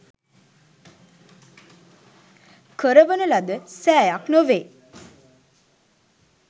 කරවන ලද සෑයක් නොවේ.